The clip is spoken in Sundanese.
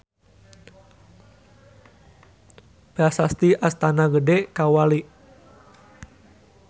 Prasasti Astana Gede Kawali.